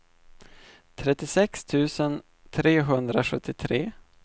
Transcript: trettiosex tusen trehundrasjuttiotre